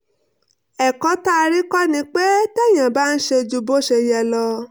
ẹ̀kọ́ tá a rí kọ́ ni pé téèyàn bá ń ṣe ju bó ṣe yẹ lọ